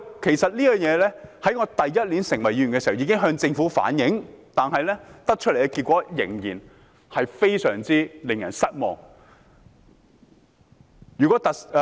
其實，在我第一年出任議員時，便已向政府反映這事，但所得的結果仍然非常令人失望。